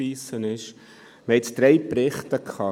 Wir haben jetzt drei Berichte behandelt.